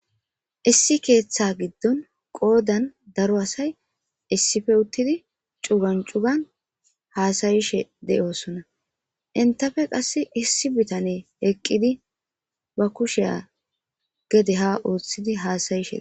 issi keeththa giddon qoodan daro asay issife uttidi cugancugan haasayishe de7oosonna intafe qass issi bitane eqqidi ba kusheya gede ha ooththidi haasayishe